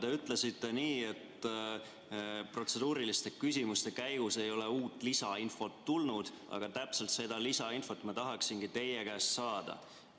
Te ütlesite nii, et protseduuriliste küsimuste käigus ei ole uut lisainfot tulnud, aga täpselt seda lisainfot ma tahangi teie käest saada.